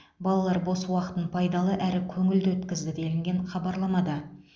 балалар бос уақытын пайдалы әрі көңілді өткізді делінген хабарламада